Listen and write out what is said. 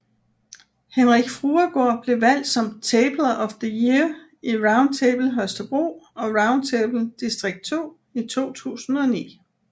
Henrik Fruergaard blev valgt som Tabler of the Year i Round Table Holstebro og Round Table Distrikt 2 i 2009